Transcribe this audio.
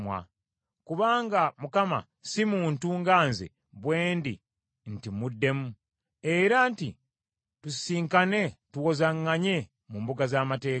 Kubanga Mukama si muntu nga nze bwe ndi nti muddemu, era nti tusisinkane tuwozaŋŋanye mu mbuga z’amateeka.